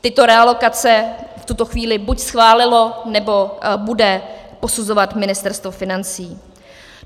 Tyto realokace v tuto chvíli buď schválilo, nebo bude posuzovat Ministerstvo financí.